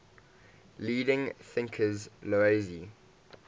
leading thinkers laozi